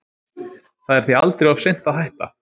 Það er því aldrei of seint að hætta.